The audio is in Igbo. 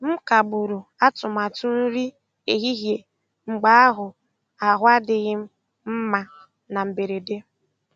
M kagburu atụmatụ nri ehihie mgbe ahụ ahụ adịghị m mma na mberede.